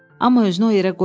Amma özünü o yerə qoymadı.